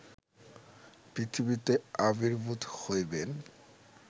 পৃথিবীতে আবির্ভূত হইবেন